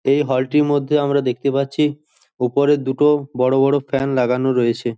এই হল টির মধ্য আমরা দেখতে পাচ্ছি ওপরের দুটো বড় বড় ফ্যান লাগানো রয়েছে।